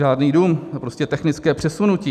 Žádný dům, prostě technické přesunutí.